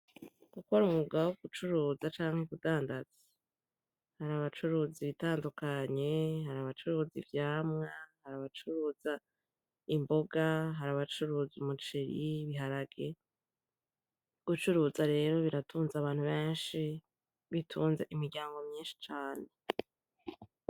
Gukora umwuga wo gucuruza canke kudandaza. Hari abacuruza ibitandukanye, hari abacuruza ivyamwa, hari abacuruza imboga, hari abacuruza umuceri, ibiharage. Gucuruza rero biratunze abantu benshi, bitunze imiryango myinshi cane.